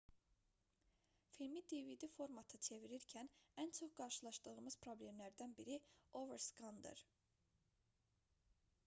filmi dvd formata çevirirkən ən çox qarşılaşdığımız problemlərdən biri overskandır